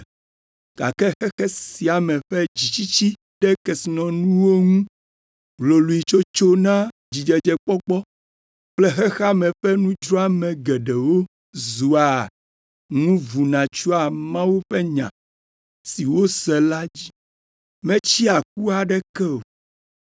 gake xexe sia me ƒe dzitsitsi ɖe kesinɔnuwo ŋu, hloloetsotso na dzidzedzekpɔkpɔ kple xexea me ƒe nudzroame geɖewo zua ŋu vuna tsyɔa Mawu ƒe Nya si wose la dzi, metsea ku aɖeke o.